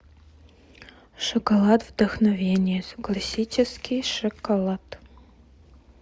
шоколад вдохновение классический шоколад